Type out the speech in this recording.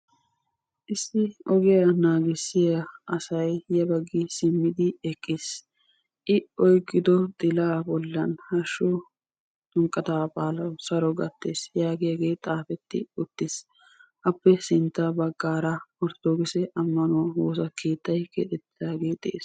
Issi ogiya naagissiya asay ya baggi simmidi eqqiis. I oyqqido xilaa bollan hashshu ximiqqataa baalawu saro gattees yaagiyagee xaafetti uttiis. Appe sintta baggaara orttodokise ammanuwa woosa keettay keexettidaagee dees.